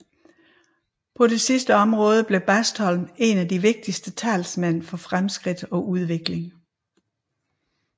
På dette sidste område blev Bastholm en af de ivrigste talsmænd for fremskridt og udvikling